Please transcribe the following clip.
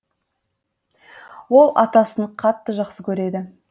ол атасын қатты жақсы көреді